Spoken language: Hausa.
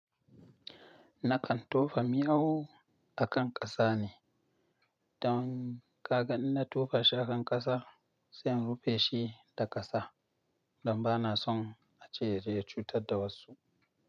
Nakan tofa miyau akan kasa ne. Don ka ga in na tofa shi akan kasa sai in rufe shi da kasa don ba na son a ce zai cutar da wasu.